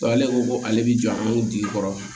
ale ko ko ale bi jɔ an jigi kɔrɔ